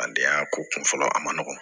A denya ko kun fɔlɔ a ma nɔgɔn